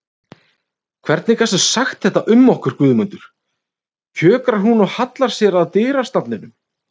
Hvernig gastu sagt þetta um okkur Guðmundur, kjökrar hún og hallar sér að dyrastafnum.